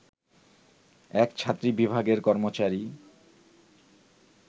এক ছাত্রী বিভাগের কর্মচারী